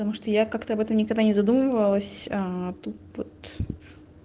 потому что я как-то вот это никогда не задумывалась тут вот